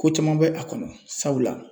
Ko caman bɛ a kɔnɔ sabula